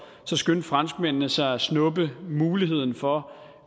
så skyndte franskmændene sig at snuppe muligheden for